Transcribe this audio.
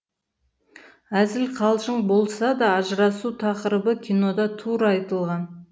әзіл қалжың болса да ажырасу тақырыбы кинода тура айтылған